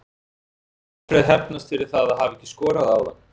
Mun Alfreð hefnast fyrir það að hafa ekki skorað áðan?